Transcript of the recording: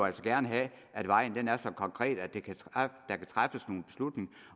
altså gerne have at vejen er så konkret at der kan træffes nogle beslutninger